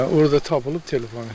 Hə, orda tapılıb telefon.